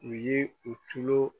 U ye u tulo.